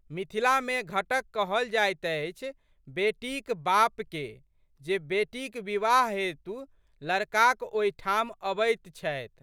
मिथिलामे घटक कहल जाइत अछि बेटीक बापके जे बेटीक विवाह हेतु लड़काक ओहिठाम अबैत छथि।